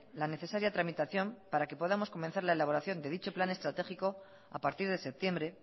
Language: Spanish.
la necesaria tramitación para que podamos comenzar la elaboración de dicho plan estratégico a partir de septiembre